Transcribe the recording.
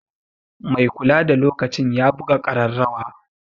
Mai kulada lokacin ya buga ƙararrawa.